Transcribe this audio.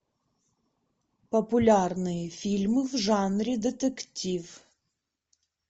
популярные фильмы в жанре детектив